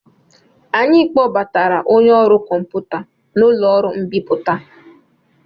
Anyị kpọbatara onye ọrụ kọmputa n'ụlọ ọrụ mbipụta.